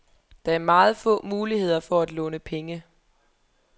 Der er meget få muligheder for at låne penge.